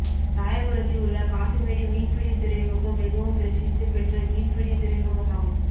ராயபுரத்தில் உள்ள காசிமேடு மீன்பிடி துறைமுகம் மிகவும் பிரசித்தி பெற்ற மீன்பிடி துறைமுகமாகும்